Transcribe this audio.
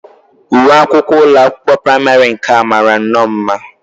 Uwe akwụkwọ ụlọakwụkwọ praịmarị nke a mara nnọọ mma